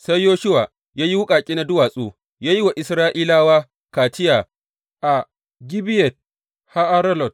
Sai Yoshuwa ya yi wuƙaƙe na duwatsu, ya yi wa Isra’ilawa kaciya a Gibeyat Ha’aralot.